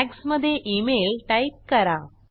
tags मधे email type करा